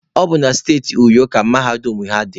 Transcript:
Ọ bụ na siti Uyo ka mahadum ha dị.